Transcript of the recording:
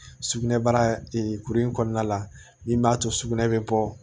Sugunɛbara kuru in kɔnɔna la min b'a to sugunɛ bɛ bɔ